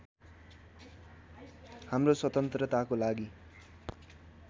हाम्रो स्वतन्त्रताको लागि